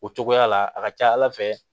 O cogoya la a ka ca ala fɛ